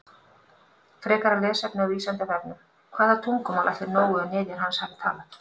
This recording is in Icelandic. Frekara lesefni á Vísindavefnum: Hvaða tungumál ætli Nói og niðjar hans hafi talað?